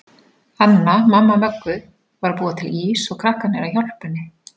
Anna, mamma Möggu, var að búa til ís og krakkarnir að hjálpa henni.